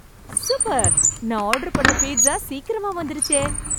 Super, நான் order பண்ண pizza சீக்கிரமா வந்துடுச்சே.